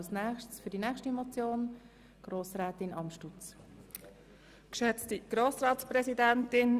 Die nächste Motion wird von Grossrätin Amstutz begründet.